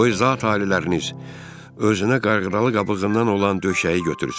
Qoy zat-aliləriniz özünə qayğılı qabığından olan döşəyi götürsün.